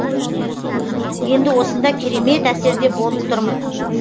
енді осында керемет әсерде болып тұрмын